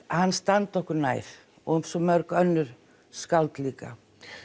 hann standi okkur nær og svo mörg önnur skáld líka